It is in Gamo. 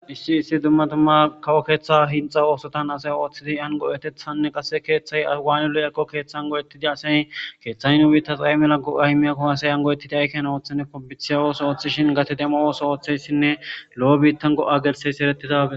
Issi issi kawo keeththa oothotan hinxxa oothotani oothidi yaani go7etethanne izan waani go7ettiyaakonne asay keethay nu biittas ay mala go7a immiyakkonne asay dumma gate demo oothiyasanne lo7o go7o gelthiyaysako.